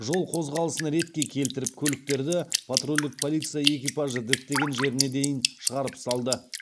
жол қозғалысын ретке келтіріп көліктерді патрульдік полиция экипажы діттеген жеріне де дейін шығарып салды